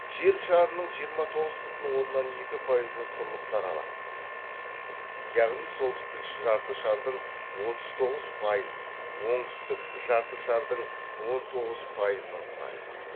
жер шарының жиырма тоғыз бүтін оннан екі пайызын құрлықтар алады яғни солтүстік жарты шардың отыз тоғыз пайызын оңтүстік жарты шардың он тоғыз пайызын құрайды